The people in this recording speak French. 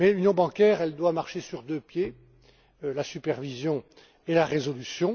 Mais l'union bancaire doit marcher sur deux pieds la supervision et la résolution.